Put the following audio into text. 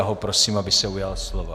Já ho prosím, aby se ujal slova.